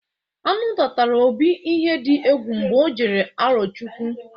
Añụnta tara Obi ihe dị egwu mgbe ọ jere Arọchụkwụ.